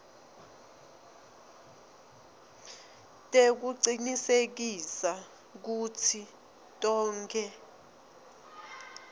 tekucinisekisa kutsi tonkhe